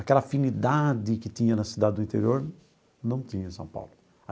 Aquela afinidade que tinha na cidade do interior, não tinha em São Paulo.